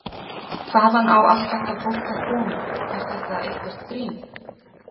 Hvaðan á allt þetta fólk að koma, er þetta eitthvert grín?